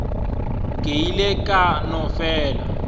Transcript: ke ile ka no fela